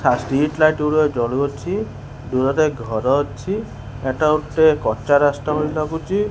ହା ଷ୍ଟ୍ରିଟ୍ଲାଇଟ୍ ଗୁଡ଼ିକ ଜଳୁଅଛି ଦୂରରେ ଘର ଅଛି ଏଟା ଗୋଟେ କଚ୍ଚା ରାସ୍ତା ଭଳି ଲାଗୁଚି।